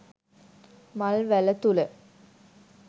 මල් වැල තුළ